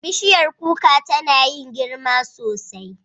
Bishiyar kuka tana yin girma sosai.